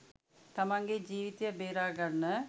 තමන්ගේ ජීවිතය බේරගන්න